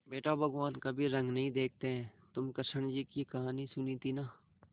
बेटा भगवान कभी रंग नहीं देखते हैं तुमने कृष्ण जी की कहानी सुनी थी ना